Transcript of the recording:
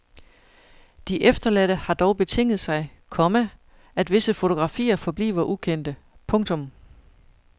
De efterladte har dog betinget sig, komma at visse fotografier forbliver ukendte. punktum